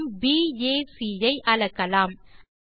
கோணம் பாக் ஐ அளக்கலாம்